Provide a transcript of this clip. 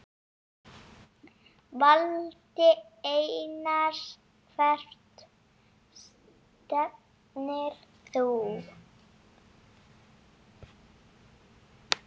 Valdi Einars Hvert stefnir þú?